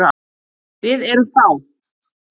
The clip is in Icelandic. Við erum fá.